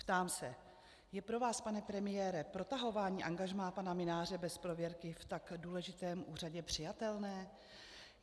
Ptám se: Je pro vás, pane premiére, protahování angažmá pana Mynáře bez prověrky v tak důležitém úřadě přijatelné?